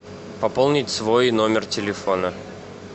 пополнить свой номер телефона